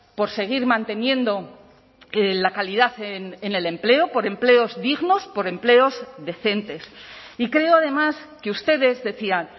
por seguir manteniendo la calidad en el empleo por empleos dignos por empleos decentes y creo además que ustedes decían